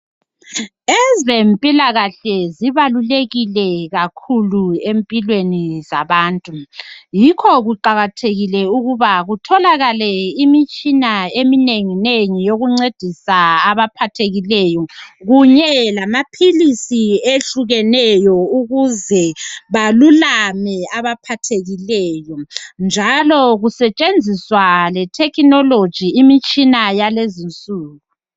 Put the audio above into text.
Ezempilakahle zibalulekile kakhuku empilweni zabantu. Yikho kuqakathekile ukuba kutholakale imitshina eminenginengi, yokuncedisa abaphathekileyo. Kunye lamaphilisi ehlukeneyo, ukuze balulame abaphathekile, njalo Kusetshenziswa letechnology, imitshina yalezi insuku.